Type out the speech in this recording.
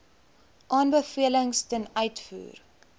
aanbevelings ten uitvoer